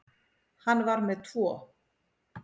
Hann var með tvo.